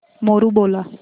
मोरू बोला